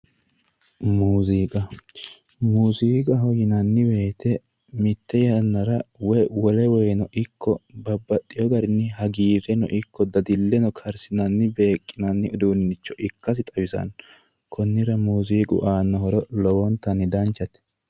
Muziiqa, muziiqaho yinnanni woyte mite yannara woyi wole woyteno ikko babbaxino garinni hagiireno ikko dadileno karsinanni beeqinanni uduunicho ikkasi xawisano konnira muziiqu aano horo lowontanni danchate.